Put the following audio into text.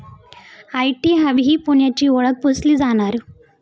IT hub ही पुण्याची ओळख पुसली जाणार?